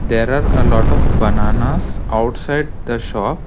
There are a lot of bananas outside the shop.